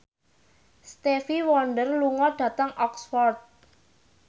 Stevie Wonder lunga dhateng Oxford